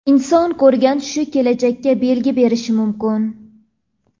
Inson ko‘rgan tushi kelajakka belgi berishi mumkin.